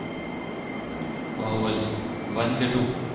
Baahubali One કે two